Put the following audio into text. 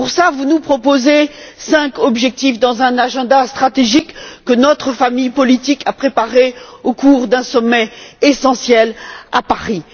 Vous nous proposez pour y remédier cinq objectifs, au sein d'un agenda stratégique que notre famille politique a préparé au cours d'un sommet essentiel à Paris.